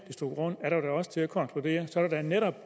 er der da også grund til at konkludere at der netop